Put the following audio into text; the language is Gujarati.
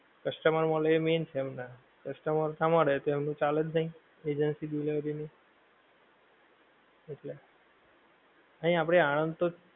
customer મળે એ main છે હમણાં customer ન મળે તો એમનું ચાલે જ નહિ, agency delivery ની. એટલે. નહિ આપડે આણંદ તો,